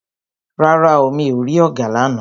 Rárá o, mi ò rí ọ̀gà lána.